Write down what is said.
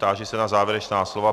Táži se na závěrečná slova.